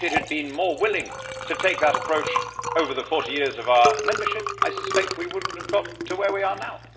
If it had been more willing to take that approach over the 40 years of our membership, I suspect we would not have got to where we are now.